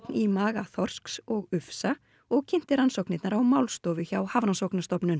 í maga þorsks og ufsa og kynnti rannsóknirnar á málstofu hjá Hafrannsóknastofnun